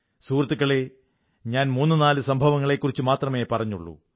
സുഹൃത്തുക്കളേ ഞാൻ മൂന്നുനാലു സംഭവങ്ങളെക്കുറിച്ച് മാത്രമേ പറഞ്ഞുള്ളൂ